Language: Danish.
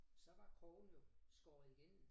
Så var krogen jo skåret igennem